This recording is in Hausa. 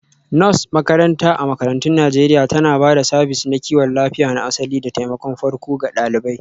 Nurse makaranta a makarantun Najeriya tana ba da sabis na kiwon lafiya na asali da taimakon farko ga ɗalibai